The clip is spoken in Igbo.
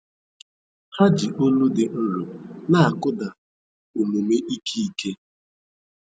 Ha ji olu dị nro na-akụda omume ike ike